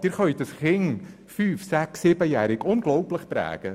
Sie können ein fünf- bis siebenjähriges Kind unglaublich prägen.